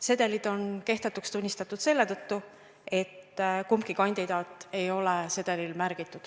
Sedelid on kehtetuks tunnistatud selle tõttu, et kumbki kandidaat ei ole sedelil märgitud.